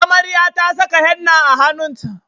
Amarya ta saka henna a hannunt